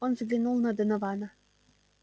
он взглянул на донована